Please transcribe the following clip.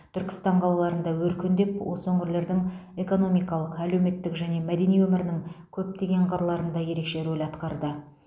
түркістан қалаларында өркендеп осы өңірлердің экономикалық әлеуметтік және мәдени өмірінің көптеген қырларында ерекше рөл атқарды